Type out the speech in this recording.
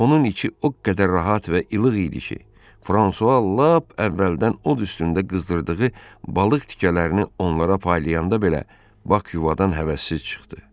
Onun içi o qədər rahat və ilıq idi ki, Fransua lap əvvəldən od üstündə qızdırdığı balıq tikələrini onlara paylayanda belə Bak yuvadan həvəssiz çıxdı.